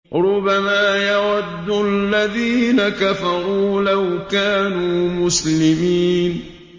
رُّبَمَا يَوَدُّ الَّذِينَ كَفَرُوا لَوْ كَانُوا مُسْلِمِينَ